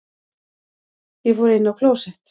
Ég fór inn á klósett.